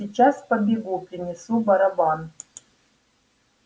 сейчас побегу принесу барабан